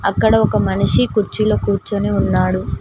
ఇక్కడ ఒక మనిషి కుర్చీలో కూర్చొని ఉన్నాడు.